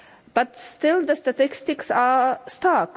but still the statistics are stark.